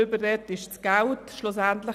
Darüber hat jetzt auch niemand gesprochen.